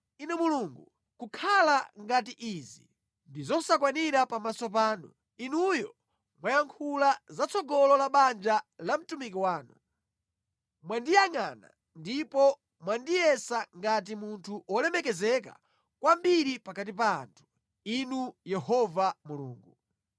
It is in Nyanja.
Inu Mulungu, kukhala ngati izi ndi zosakwanira pamaso panu, Inuyo mwayankhula zatsogolo la banja la mtumiki wanu. Mwandiyangʼana ndipo mwandiyesa ngati munthu wolemekezeka kwambiri pakati pa anthu, Inu Yehova Mulungu.”